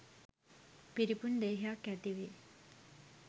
පිරිපුන් දේහයක් ඇතිවේ.